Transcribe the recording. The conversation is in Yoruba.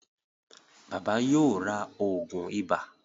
Bàbá yóò rá oògùn iba.